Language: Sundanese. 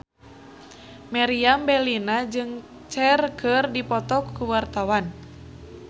Meriam Bellina jeung Cher keur dipoto ku wartawan